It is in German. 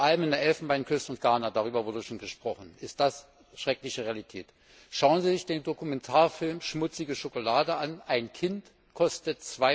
Vor allem in der Elfenbeinküste und in Ghana darüber wurde schon gesprochen ist das schreckliche Realität. Schauen Sie sich den Dokumentarfilm Schmutzige Schokolade an ein Kind kostet